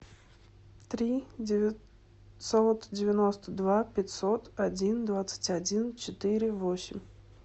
три девятьсот девяносто два пятьсот один двадцать один четыре восемь